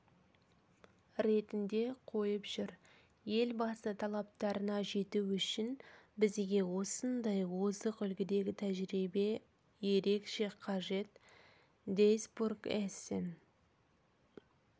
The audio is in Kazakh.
ретінде қойып жүр елбасы талаптарына жету үшін бізге осындай озық үлгідегі тәжірибе ерекше қажет дуйсбург-эссен